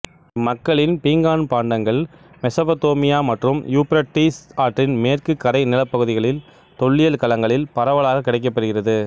இம்மக்களின் பீங்கான் பாண்டங்கள் மெசொப்பொத்தேமியா மற்றும் யூப்பிரடீஸ் ஆற்றின் மேற்கு கரை நிலப்பகுதிகளின் தொல்லியல் களங்களில் பரவலாக கிடைக்கப்பெறுகிறது